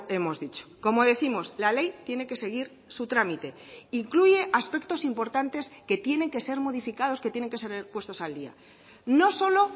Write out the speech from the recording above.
hemos dicho como décimos la ley tiene que seguir su trámite incluye aspectos importantes que tienen que ser modificados que tienen que ser puestos al día no solo